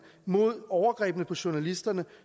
mod overgrebene på journalisterne